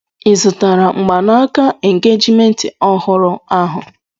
I zụtara mgbanaka engejiment ọhụrụ ahụ?